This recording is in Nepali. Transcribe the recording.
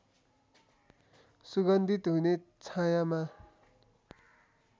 सुगन्धित हुने छायाँमा